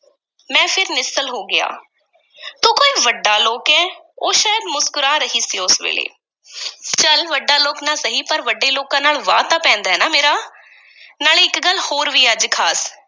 ਮੈਂ ਫਿਰ ਨਿੱਸਲ ਹੋ ਗਿਆ ਤੂੰ ਕੋਈ ਵੱਡਾ ਲੋਕ ਐਂ? ਉਹ ਸ਼ਾਇਦ ਮੁਸਕਰਾ ਰਹੀ ਸੀ ਉਸ ਵੇਲੇ ਚੱਲ ਵੱਡਾ ਲੋਕ ਨਾ ਸਹੀ, ਪਰ ਵੱਡੇ ਲੋਕਾਂ ਨਾਲ ਵਾਹ ਤਾਂ ਪੈਂਦਾ ਏ ਨਾ ਮੇਰਾ ਨਾਲੇ ਇੱਕ ਗੱਲ ਹੋਰ ਵੀ ਅੱਜ ਖ਼ਾਸ।